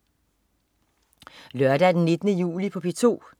Lørdag den 19. juli - P2: